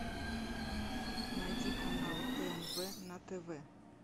найди канал тнв на тв